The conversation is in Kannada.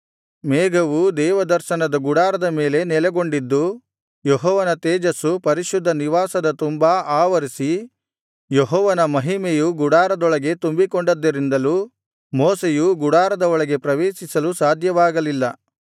ಮೇಘವು ದೇವದರ್ಶನದ ಗುಡಾರದ ಮೇಲೆ ನೆಲೆಗೊಂಡಿದ್ದು ಯೆಹೋವನ ತೇಜಸ್ಸು ಪರಿಶುದ್ಧ ನಿವಾಸದ ತುಂಬಾ ಅವರಿಸಿ ಯೆಹೋವನ ಮಹಿಮೆಯು ಗುಡಾರದೊಳಗೆ ತುಂಬಿಕೊಂಡ್ದಿದರಿಂದಲೂ ಮೋಶೆಯು ಗುಡಾರದ ಒಳಗೆ ಪ್ರವೇಶಿಸಲು ಸಾಧ್ಯವಾಗಲಿಲ್ಲ